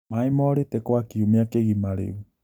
Maĩ morĩte kwa kiumia kĩgima rĩu